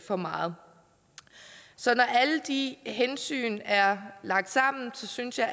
for meget så når alle de hensyn er lagt sammen synes jeg